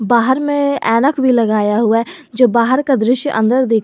बाहर में ऐनक भी लगाया हुआ है जो बाहर का दृश्य अंदर देख रहा--